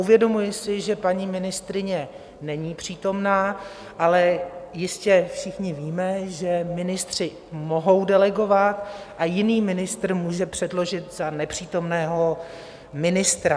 Uvědomuji si, že paní ministryně není přítomna, ale jistě všichni víme, že ministři mohou delegovat a jiný ministr může předložit za nepřítomného ministra.